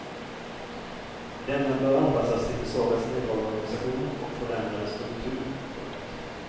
Denna bör anpassas till försvarets neddragna organisation och förändrade struktur. punkt